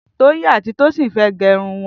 Toyin àtí Tosin fẹ̀ gẹrún wọn